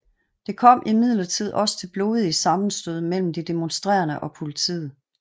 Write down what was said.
Det kom imidlertid også til blodige sammenstød mellem de demonstrerende og politiet